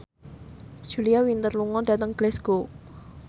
Julia Winter lunga dhateng Glasgow